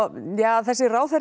þessi ráðherra